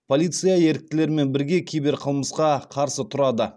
полиция еріктілермен бірге киберқылмысқа қарсы тұрады